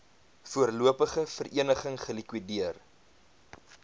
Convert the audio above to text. voorlopige vereniging gelikwideer